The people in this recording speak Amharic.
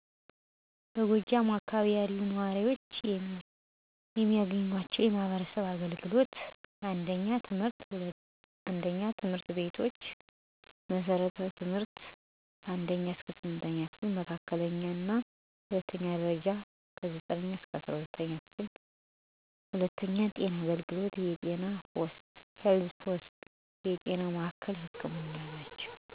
በጎጃም አካባቢ ያሉ ነዋሪዎች የሚያገኟቸው የማህበረሰብ አገልግሎቶች: 1. ትምህርት ቤቶች መሠረታዊ ትምህርት (1ኛ–8ኛ ክፍል) መካከለኛ እና ሁለተኛው ደረጃ(9ኛ-12ኛ ክፍል) 2. ጤና አገልግሎቶች የጤና ፖስት (Health Posts) የጤና ማዕከላዊ ህክምና (Health Centers) ሆስፒታሎች የጤና ህክምና ግንባታ 1. ቀበሌ ጽ/ቤቶች (Kebele & Administrative Services ጤና እና ኮሚኩኒቲ ፖሊሲ ከተማ እና ገጠር መምሪያ በአጠቃላይ በጎጃም አካባቢ በትምህርት በጤና በፖሊሲና አራዊ ግንዛቤ አገልግሎት በተቋማት ላይ በሙሉ ይቀርባል።